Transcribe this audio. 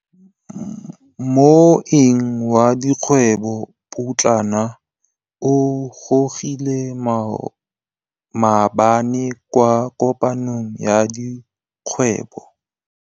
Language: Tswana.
Moêng wa dikgwêbô pôtlana o gorogile maabane kwa kopanong ya dikgwêbô.